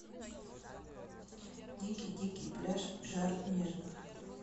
дикий дикий пляж жар нежных